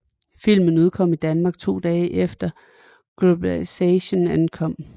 Filmen udkom i Danmark to dage efter Globalization ankom